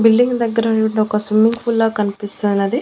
Building దగ్గర swimming pool లా కన్పిస్తున్నది.